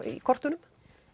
í kortunum